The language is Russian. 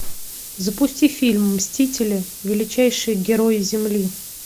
запусти фильм мстители величайшие герои земли